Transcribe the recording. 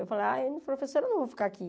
Eu falava, professora, eu não vou ficar aqui.